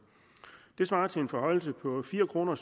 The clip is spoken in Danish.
det svarer til en forhøjelse på fire kroner